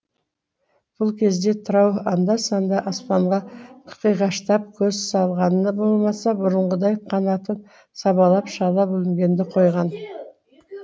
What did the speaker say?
бұл кезде тырау анда санда аспанға қиғаштап көз салғаны болмаса бұрынғыдай қанатын сабалап шала бүлінгенді қойған